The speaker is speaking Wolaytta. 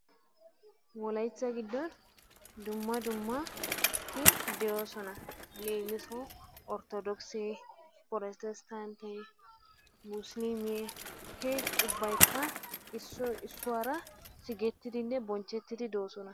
Wolaytta giddon dumma dumma ammanoti de'oosona. Leemisuwawu Orttodookise, pirootesttantte, musiliimee he ubbaykka issoy issuwara sigettidinne bonchchettidi doosona.